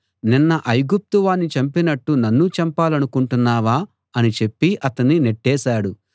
నిన్న ఐగుప్తు వాణ్ణి చంపినట్టు నన్నూ చంపాలనుకుంటున్నావా అని చెప్పి అతణ్ణి నెట్టేశాడు